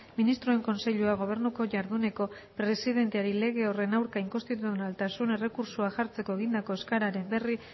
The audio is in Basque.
ministroen kontseiluak gobernuko jarduneko presidenteari lege horren aurka inkonstituzionaltasun errekurtsoa jartzeko egindako eskaeraren berri